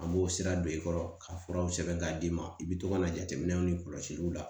An b'o sira don i kɔrɔ ka furaw sɛbɛn k'a d'i ma i bɛ to ka na jateminɛw ni kɔlɔsiliw la